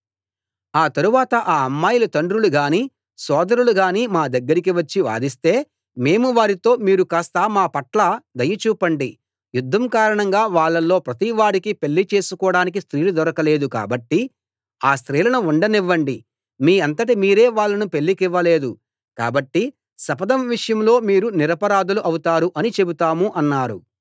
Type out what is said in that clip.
ఆ తరువాత ఆ అమ్మాయిల తండ్రులు గానీ సోదరులు గానీ మా దగ్గరికి వచ్చి వాదిస్తే మేము వారితో మీరు కాస్త మా పట్ల దయ చూపండి యుద్ధం కారణంగా వాళ్ళలో ప్రతి వాడికీ పెళ్ళి చేసుకోడానికి స్త్రీలు దొరకలేదు కాబట్టి ఆ స్త్రీలను ఉండనివ్వండి మీ అంతట మీరే వాళ్ళను పెళ్లికివ్వలేదు కాబట్టి శపథం విషయంలో మీరు నిరపరాధులు అవుతారు అని చెబుతాము అన్నారు